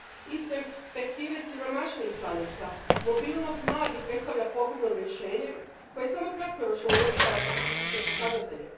Iz perspektive siromašnijih članica mobilnost mladih predstavlja pogubno rješenje koje samo kratkoročno uljepšava statističke pokazatelje.